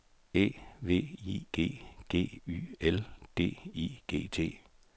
E V I G G Y L D I G T